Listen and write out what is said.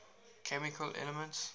chemical elements